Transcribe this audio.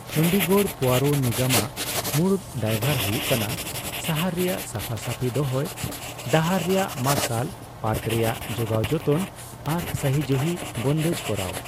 ᱪᱚᱱᱰᱤᱜᱚᱲ ᱯᱚᱳᱨᱚ ᱱᱤᱜᱚᱢ ᱟᱜ ᱢᱩᱲᱩᱫ ᱫᱟᱹᱭᱵᱷᱟᱨ ᱦᱩᱭᱩᱜ ᱠᱟᱱᱟ ᱥᱟᱦᱟᱨ ᱨᱮᱭᱟᱜ ᱥᱟᱯᱷᱟᱼᱥᱟᱯᱷᱤ ᱫᱚᱦᱚᱭ, ᱰᱟᱦᱟᱨ ᱨᱮᱭᱟᱜ ᱢᱟᱨᱥᱟᱞ, ᱯᱟᱨᱠ ᱨᱮᱭᱟᱜ ᱡᱳᱜᱟᱣᱡᱚᱛᱚᱱ ᱟᱨ ᱥᱟᱦᱤ ᱡᱩᱦᱤ ᱵᱚᱱᱫᱮᱡ ᱠᱚᱨᱟᱣ ᱾